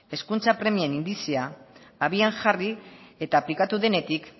hezkuntza premien indizea abian jarri eta aplikatu denetik